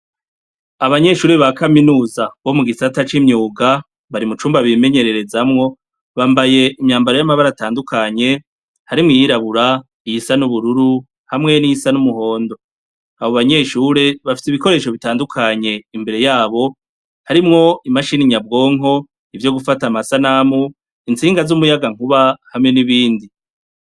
Abanyeshuri ba kaminuza bo mu gisata c'imyuga bari mu cumba bimenyererezamwo bambaye imyambaro y'amabara atandukanye harimwo iyirabura iyi sa n'ubururu hamwe n'iyi sa n'umuhondo, abo banyeshure bafise ibikoresho bitandukanye imbere yabo harimwo imashini nyabwonko ivyo gufata amasanamu itsinga z'umuyagankuba hamwe n'ibindi.